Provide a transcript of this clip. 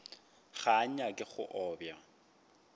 ga a nyake go obja